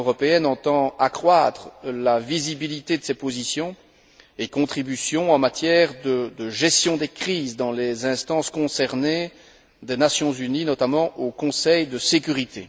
L'Union européenne entend accroître la visibilité de ses positions et contributions en matière de gestion des crises dans les instances concernées des Nations unies, notamment au Conseil de sécurité.